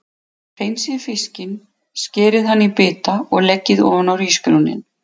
Hreinsið fiskinn, skerið hann í bita og leggið ofan á hrísgrjónin.